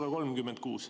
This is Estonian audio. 136.